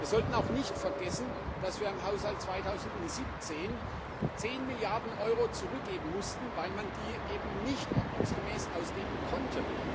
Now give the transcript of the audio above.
Wir sollten auch nicht vergessen, dass wir im Haushalt 2017 zehn Milliarden Euro zurückgeben mussten, weil man die nicht ordnungsgemäß ausgeben konnte.